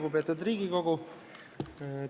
Lugupeetud Riigikogu!